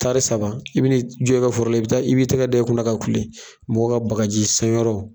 Taari saba i bɛ ni jɔ i ka foro la i bɛ taa i bɛ tɛgɛ da i kunna ka kule mɔgɔw ka baka ji san yɔrɔ.